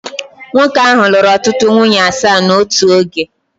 Nwoke ahụ lụrụ ọtụtụ nwunye asaa n'otu oge